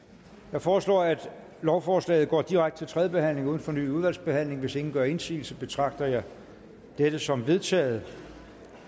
jeg foreslår at lovforslaget går direkte til tredje behandling uden fornyet udvalgsbehandling hvis ingen gør indsigelse betragter jeg dette som vedtaget